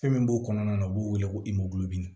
Fɛn min b'o kɔnɔna na o b'o wele ko